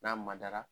N'a madara